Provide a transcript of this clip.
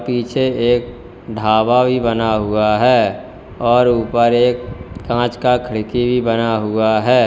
पीछे एक ढाबा भी बना हुआ है और ऊपर एक कांच का खिड़की भी बना हुआ है।